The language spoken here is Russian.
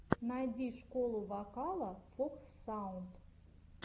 найди школу вокала фокс саунд